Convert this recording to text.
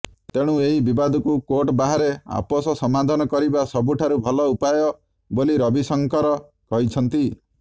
ତେଣୁ ଏହି ବିବାଦକୁ କୋର୍ଟ ବାହାରେ ଆପୋଷ ସମାଧାନ କରିବା ସବୁଠାରୁ ଭଲ ଉପାୟ ବୋଲି ରବିଶଙ୍କର କହିଛନ୍ତି